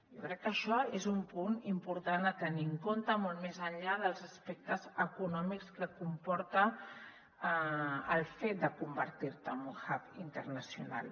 jo crec que això és un punt important a tenir en compte molt més enllà dels aspectes econòmics que comporta el fet de convertir·te en un hub internacional